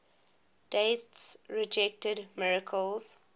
deists rejected miracles